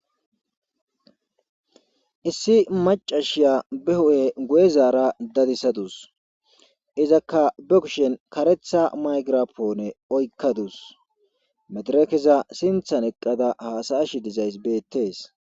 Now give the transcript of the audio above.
issi macashiya be hu'e guye zaara dadisadus izakka be kushen karetha maygirapoone oykkadus mederekeza sinthan eqqada haasa'ash dizayss beettees